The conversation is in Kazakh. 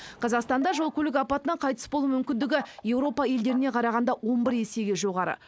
қазақстанда жол көлік апатынан қайтыс болу мүмкіндігі еуропа елдеріне қарағанда он бір есеге жоғары